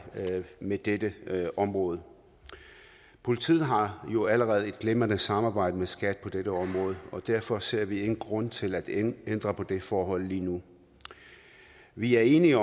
med det her område politiet har jo allerede et glimrende samarbejde med skat på dette område og derfor ser vi ingen grund til at ændre på det forhold lige nu vi er enige